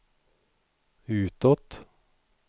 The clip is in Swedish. utåt